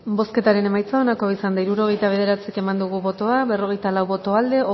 bozketaren emaitza onako izan da hirurogeita bederatzi eman dugu bozka berrogeita lau boto aldekoa